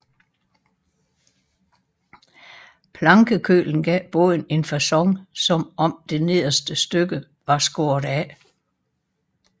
Plankekølen gav båden en facon som om det nederste stykke var skåret af